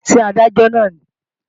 Ṣé Adájọ́ náà nìí?